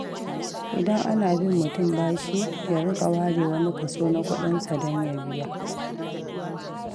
Idan ana bin mutum bashi, ya riƙa ware wani kaso na kuɗinsa don ya biya.